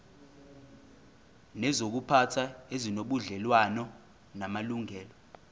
nezokuziphatha ezinobudlelwano namalungelo